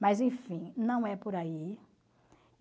Mas enfim, não é por aí.